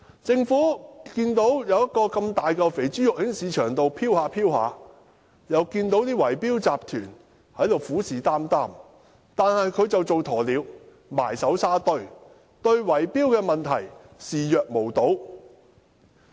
政府看到市場上出現這麼一大塊"肥豬肉"，又看到圍標集團虎視眈眈，卻只當鴕鳥，埋首沙堆，對圍標問題視若無睹。